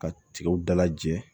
Ka tigɛw dalajɛ